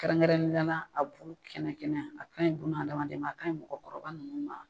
Kɛrɛnkɛrɛninya na a bu kɛnɛ kɛnɛ a ka ɲi bunadamaden ma a ka ɲi mɔgɔkɔrɔba ninnu ma.